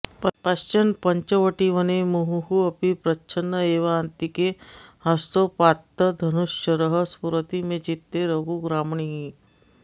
पश्यन् पञ्चवटीवने मुहुरपि प्रच्छन्न एवान्तिके हस्तोपात्तधनुश्शरः स्फुरति मे चित्ते रघुग्रामणीः